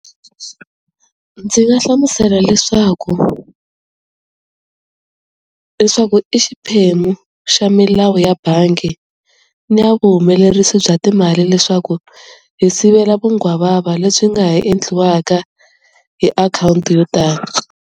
Ndzi nga hlamusela leswaku leswaku i xiphemu xa milawu ya bangi ni ya vuhumelerisi bya timali leswaku hi sivela vunghwavava lebyi nga ha endliwaka hi account yo tani.